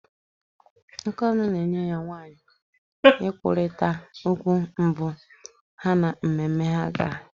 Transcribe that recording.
Akannœ na enyi ya nwaanyị kwurịtara okwu mbụ ha na mmemme ha gara.